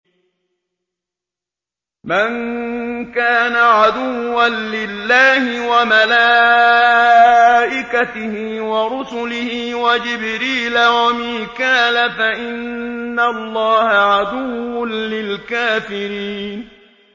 مَن كَانَ عَدُوًّا لِّلَّهِ وَمَلَائِكَتِهِ وَرُسُلِهِ وَجِبْرِيلَ وَمِيكَالَ فَإِنَّ اللَّهَ عَدُوٌّ لِّلْكَافِرِينَ